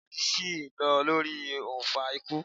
Iwadi si n lọ lori ounfa ikú